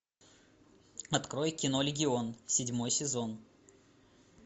открой кино легион седьмой сезон